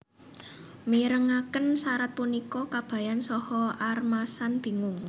Mirengaken sarat punika Kabayan saha Armasan bingung